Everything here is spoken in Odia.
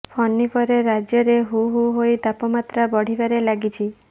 ଫନି ପରେ ରାଜ୍ୟରେ ହୁ ହୁ ହୋଇ ତାପମାତ୍ରା ବଢ଼ିବାରେ ଲାଗିଛି